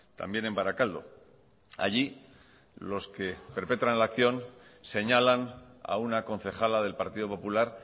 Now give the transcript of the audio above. también en barakaldo allí los que perpetran la acción señalan a una concejala del partido popular